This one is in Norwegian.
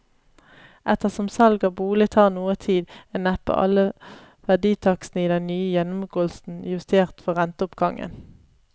Ettersom salg av bolig tar noe tid, er neppe alle verditakstene i den nye gjennomgåelsen justert for renteoppgangen.